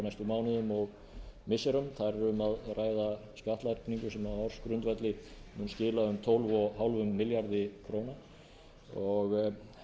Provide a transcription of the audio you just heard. mánuðum og missirum þar er um að ræða skattlagningu sem á ársgrundvelli mun skila um tólf og hálfum milljarði króna og